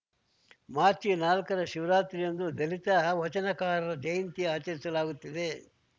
March ನಾಲ್ಕರ ಮಹಾಶಿವರಾತ್ರಿಯಂದು ದಲಿತ ವಚನಕಾರರ ಜಯಂತಿ ಆಚರಿಸಲಾಗುತ್ತಿದೆ